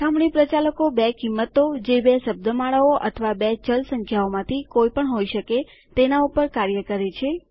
સરખામણી પ્રચાલક બે કિંમતો જે બે શબ્દમાળાઓ અથવા બે ચલ સંખ્યાઓમાંથી કોઈ પણ હોઈ શકે તેના ઉપર કાર્ય કરે છે